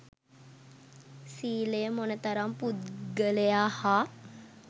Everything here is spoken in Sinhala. සීලය මොන තරම් පුද්ගලයා හා